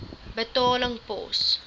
betaling pos